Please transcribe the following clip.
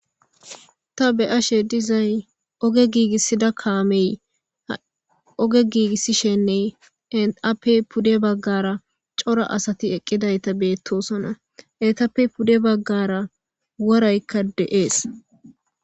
Ta be ashe dizay oge giigissida kaamey oge giigissishenne eappe pude baggara cora asati eqqidayta beettosona etappe pude baggara waraykka de'ees